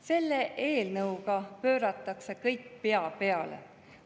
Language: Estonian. Selle eelnõuga pööratakse kõik pea peale.